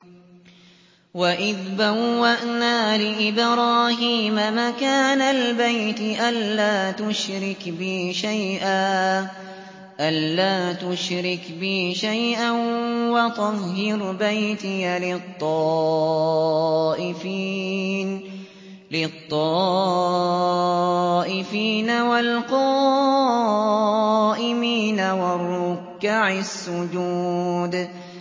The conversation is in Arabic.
وَإِذْ بَوَّأْنَا لِإِبْرَاهِيمَ مَكَانَ الْبَيْتِ أَن لَّا تُشْرِكْ بِي شَيْئًا وَطَهِّرْ بَيْتِيَ لِلطَّائِفِينَ وَالْقَائِمِينَ وَالرُّكَّعِ السُّجُودِ